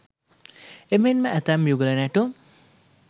එමෙන්ම ඇතැම් යුගල නැටුම්